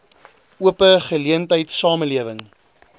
ope geleentheid samelewing